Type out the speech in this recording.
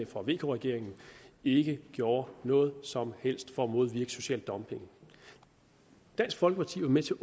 for vk regeringen ikke gjorde noget som helst for at modvirke social dumping dansk folkeparti var med til